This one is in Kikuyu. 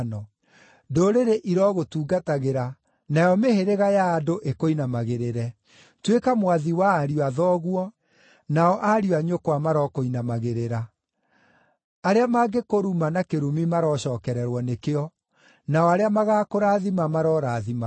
Ndũrĩrĩ irogũtungatagĩra nayo mĩhĩrĩga ya andũ ĩkũinamagĩrĩre. Tuĩka mwathi wa ariũ a thoguo, nao ariũ a nyũkwa marokũinamagĩrĩra. Arĩa mangĩkũruma na kĩrumi marocookererwo nĩkĩo, nao arĩa magaakũrathima marorathimagwo.”